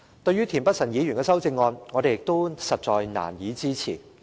對於田北辰議員的修正案，我們亦難以支持。